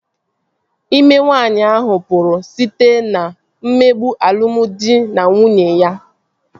İme nwaanyi ahụ pụrụ site na mmegbu alụmdi na nwunye ya